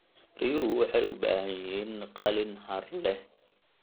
Riyuhu waxay u baahan yihiin qalin hadh leh.